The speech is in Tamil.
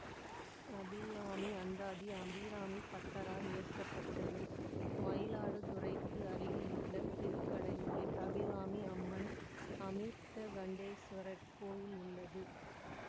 அபிராமி அந்தாதி அபிராமி பட்டரால் இயற்ற பட்டது மயிலாடுதுறைக்கு அருகிலுள்ள திருக்கடையூரில் அபிராமி அம்மன் அமிர்தகண்டேசுவரர் கோயில் உள்ளது